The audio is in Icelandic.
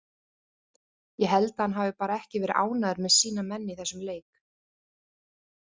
Ég held að hann hafi bara ekki verið ánægður með sína menn í þessum leik.